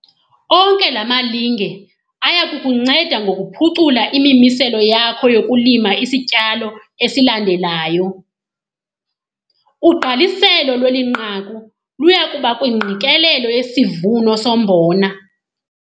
Onke la malinge aya kukunceda ngokuphucula imimiselo yakho yokulima isityalo esilandelayo. Ugqaliselo lweli nqaku luya kuba kwingqikelelo yesivuno sombona.